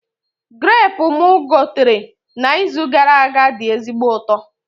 Grapu mụ gotere na izu gara aga dị ezigbo ụtọ